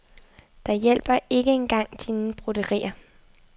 Der hjælper ikke en gang dine broderier.